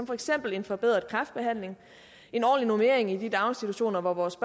for eksempel forbedret kræftbehandling ordentlig normering i de daginstitutioner hvor vores